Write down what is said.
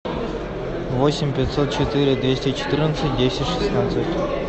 восемь пятьсот четыре двести четырнадцать десять шестнадцать